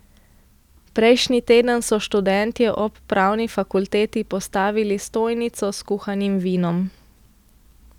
Prejšnji teden so študentje ob pravni fakulteti postavili stojnico s kuhanim vinom.